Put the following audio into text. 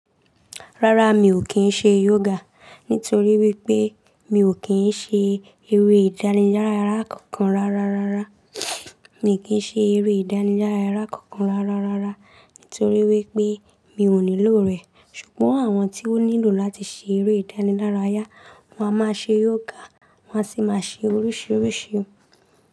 Rárá mi ò kì se yoga nítorí wipé mi o kàn se eré ìdánilarayá kankan rárá. Mi ò kín ṣe eré ìdánilárayá kankan rárá rárá nítorí wípé mi ò nílò rẹ̀. Ṣùgbọ́n àwọn tí ó nílò láti ṣe eré ìdánilárayá, wọ́n a máa ṣe yoga, wọ́n a sì máa ṣe loríṣiríṣi.